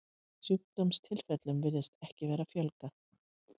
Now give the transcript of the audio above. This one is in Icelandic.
Sjúkdómstilfellum virðist ekki vera að fjölga.